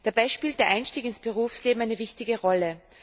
Dabei spielt der Einstieg ins Berufsleben eine wichtige Rolle.